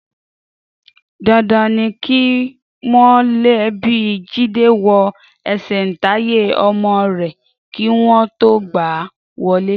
Dandan ni kí mọ̀lẹ́bí Jídé wo ẹsẹ̀ǹtáyé ọmọ rẹ̀ kí wọn tó gbà á wọlé.